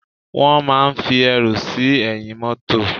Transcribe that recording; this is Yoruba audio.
Wón máa ń fi ẹrù sí ẹ̀yìn mótò